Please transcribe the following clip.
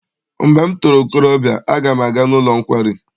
Mgbe m toro okorobịa aga m aga n'ụlọ nkwari.